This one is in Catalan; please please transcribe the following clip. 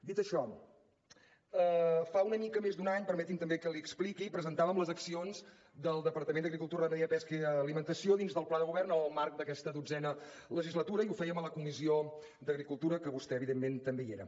dit això fa una mica més d’un any permeti’m també que l’hi expliqui presentàvem les accions del departament d’agricultura ramaderia pesca i alimentació dins del pla de govern en el marc d’aquesta dotzena legislatura i ho fèiem a la comissió d’agricultura en què vostè evidentment també hi era